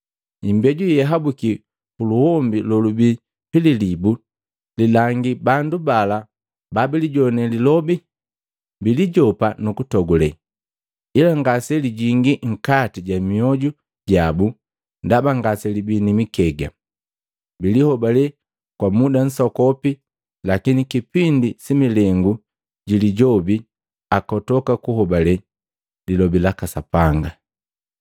Imbeju yeyahabuki puluhombi lolubi pililibu lilangi bandu bala babilijone lilobi, bilijopa nukutogule, ila ngase lijingi nkati ja myoju jabu ndaba ngaselibii ni mikega. Bilihobale kwa muda nsokopi, lakini kipindi si milengu ji lijobi akotoka kuhobale lilobi laka Sapanga.